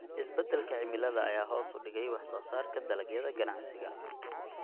Isbeddelka cimilada ayaa hoos u dhigay wax soo saarka dalagyada ganacsiga.